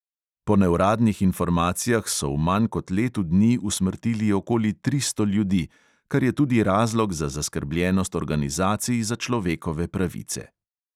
Po neuradnih informacijah so v manj kot letu dni usmrtili okoli tristo ljudi, kar je tudi razlog za zaskrbljenost organizacij za človekove pravice.